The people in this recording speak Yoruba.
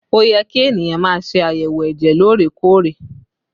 Ó yẹ kí ènìyàn má ṣe àyẹ̀wò ẹ̀jẹ̀ lóòrè-kóòrè